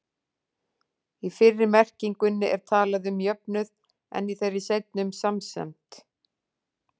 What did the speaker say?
Í fyrri merkingunni er talað um jöfnuð, en í þeirri seinni um samsemd.